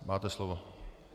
Máte slovo.